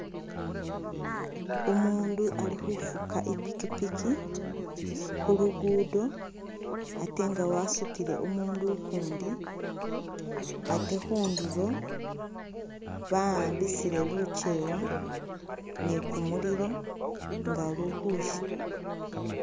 Umuundu ali khufuka i'pikipiki khu lugudo ate nga wasutile umuundu ukundi, ate khundulo ba'ambisile lukyewa ni kumuliro nga luli khusya